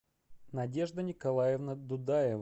надежда николаевна дудаева